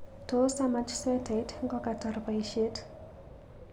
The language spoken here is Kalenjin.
Tos amach swetait ngokatar boishet